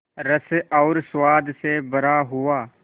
रस और स्वाद से भरा हुआ